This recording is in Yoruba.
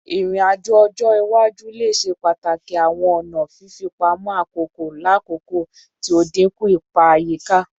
Irin-ajo ọjọ iwaju le ṣe pataki awọn ọna fifipamọ akoko lakoko ti o dinku ipa ayika